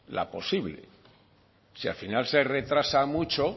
la posible si al final se retrasa mucho